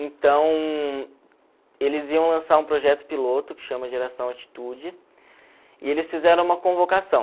Então, eles iam lançar um projeto piloto que chama Geração Atitude e eles fizeram uma convocação.